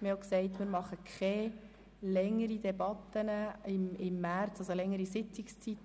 Wir haben auch gesagt, dass wir keine längeren Debatten, also Sitzungszeiten, im März abhalten,